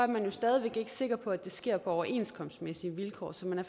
man jo stadig ikke sikker på at det her sker på overenskomstmæssige vilkår så man er